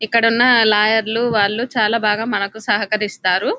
ఇక్కడున్న లాయర్లు వాళ్ళు చాలా బాగా మనకు సహకరిస్తారు --